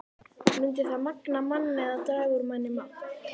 Mundi það magna mann eða draga úr manni mátt?